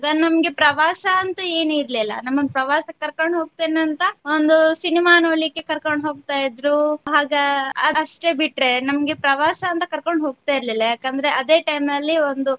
ನಮ್ಗೆ ಪ್ರವಾಸ ಅಂತ ಏನಿರ್ಲಿಲ್ಲ ನಮ್ಮನ್ನ ಪ್ರವಾಸಕ್ಕೆ ಕರ್ಕೊಂಡ್ ಹೋಗ್ತೆನೆ ಅಂತ ಒಂದು ಸಿನಿಮಾ ನೋಡಲಿಕ್ಕೆ ಕರ್ಕೊಂಡ್ ಹೋಗ್ತಾ ಇದ್ರು ಆಗ ಅಷ್ಟೇ ಬಿಟ್ರೆ ನಮ್ಗೆ ಪ್ರವಾಸ ಅಂತ ಕರ್ಕೊಂಡ್ ಹೋಗ್ತಾ ಇರ್ಲಿಲ್ಲ ಯಾಕಂದ್ರೆ ಅದೆ time ಅಲ್ಲಿ ಒಂದು.